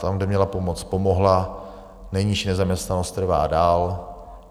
Tam, kde měla pomoct, pomohla, nejnižší nezaměstnanost trvá dál.